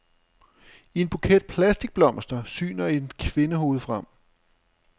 I en buket plastikblomster syner et kvindehoved frem.